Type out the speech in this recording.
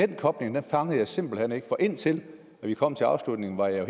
den kobling fangede jeg simpelt hen ikke for indtil vi kom til afslutningen var jeg